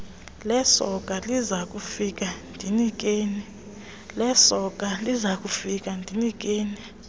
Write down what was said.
lesoka lizakufika ndinikeni